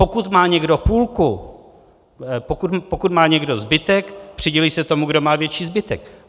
Pokud má někdo půlku... pokud má někdo zbytek, přidělí se tomu, kdo má větší zbytek.